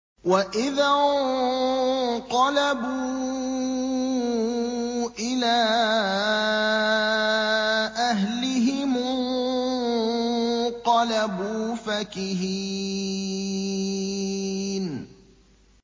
وَإِذَا انقَلَبُوا إِلَىٰ أَهْلِهِمُ انقَلَبُوا فَكِهِينَ